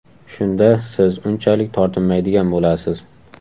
Shunda siz unchalik tortinmaydigan bo‘lasiz.